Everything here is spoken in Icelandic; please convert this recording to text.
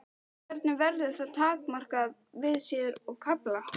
Hvernig verður það takmarkað við síður og kafla?